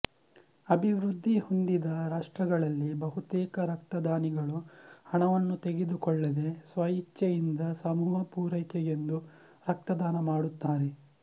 ಅಭಿವೃದ್ಧಿ ಹೊಂದಿದ ರಾಷ್ಟ್ರಗಳಲ್ಲಿ ಬಹುತೇಕ ರಕ್ತದಾನಿಗಳು ಹಣವನ್ನು ತೆಗೆದುಕೊಳ್ಳದೆ ಸ್ವ ಇಚ್ಛೆಯಿಂದ ಸಮೂಹ ಪೂರೈಕೆಗೆಂದು ರಕ್ತದಾನ ಮಾಡುತ್ತಾರೆ